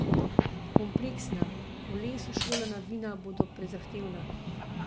Kompleksna, v lesu šolana vina bodo prezahtevna.